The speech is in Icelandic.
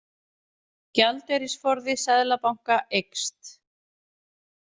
Gjaldeyrisforði Seðlabanka eykst